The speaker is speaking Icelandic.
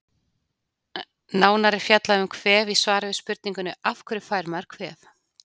Nánar er fjallað um kvef í svari við spurningunni Af hverju fær maður kvef?